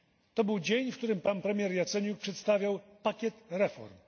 To był dzień, w którym pan premier Jaceniuk przedstawiał pakiet reform.